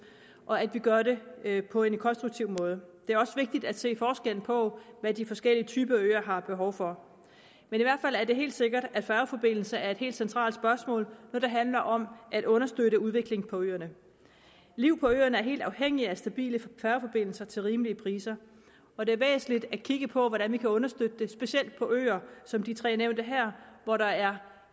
og at vi gør det på en konstruktiv måde det er også vigtigt at se på forskellen på hvad de forskellige typer øer har behov for men i hvert fald er det helt sikkert at færgeforbindelser er et helt centralt spørgsmål når det handler om at understøtte udviklingen på øerne liv på øerne er helt afhængigt af stabile færgeforbindelser til rimelige priser og det er væsentligt at kigge på hvordan vi kan understøtte det specielt på øer som de tre nævnte her hvor der er